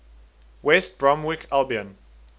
west bromwich albion